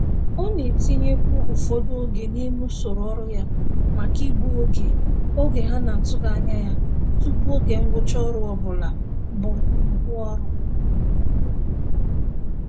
Ọ na-etinyekwu ụfọdụ oge n'ime usoro ọrụ ya maka igbu oge oge ha n'atụghị anya ya tụpụ oge ngwụcha ọrụ ọbụla bu nnukwu ọrụ.